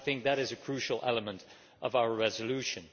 I think that is a crucial element of our resolution.